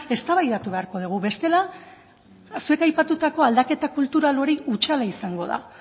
eztabaidatu beharko dugu bestela zuek aipatutako aldaketak kultural hori hutsala izango da